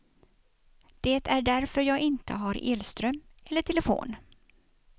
Det är därför jag inte har elström eller telefon.